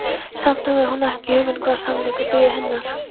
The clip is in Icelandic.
Samt hafði hún ekki hugmynd um hvaða sannleikur biði hennar.